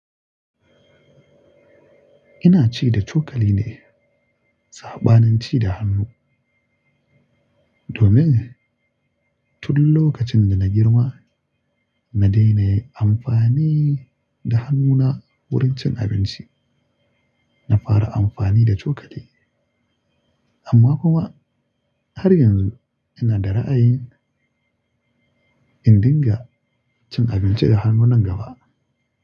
Ina ci da cokali ne saɓanin ci da hannu domin tun lokacin da na girma na daina yin amfani da hannuna wurin cin abinci. Na fara amfani da cokali amma kuma har yanzu ina da ra'ayin in dinga cin abinci da hannu nan gaba.